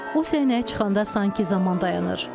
O səhnəyə çıxanda sanki zaman dayanır.